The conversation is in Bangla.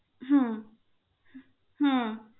হম